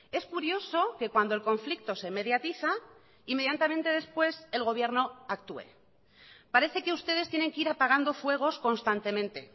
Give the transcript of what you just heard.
es curioso que cuando el conflicto se mediatiza inmediatamente después el gobierno actúe parece que ustedes tienen que ir apagando fuegos constantemente